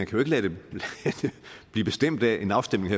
kan blive bestemt af en afstemning